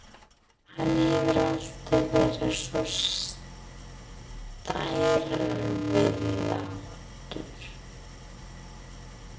Hann hefur alltaf verið svo stærilátur.